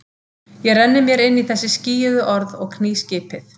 Ég renni mér inn í þessi skýjuðu orð og kný skipið.